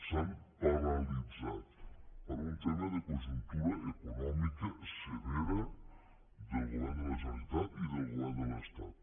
s’han paralitzat per un tema de conjuntura econòmica severa del govern de la generalitat i del govern de l’estat